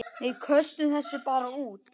Við köstum þessu bara út.